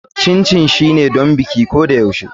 Chin chin shine don bikin ko da yaushe.